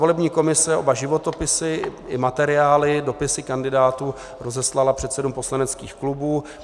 Volební komise oba životopisy i materiály, dopisy kandidátů, rozeslala předsedům poslaneckých klubů.